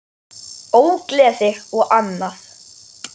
Ógleði og annað.